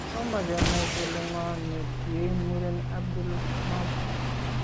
Tomo kenai kole ng'oo ne ntiie muren Abdul Mahdi